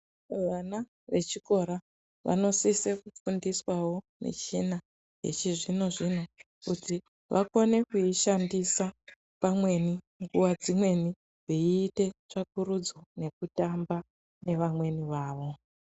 Vana vechikora vanosise kufundiswawo michina yechizvino-zvino kuti vakone kuishandisa pamweni nguva dzimweni veiite tsvakurudza nekutamba nevamweni vavo.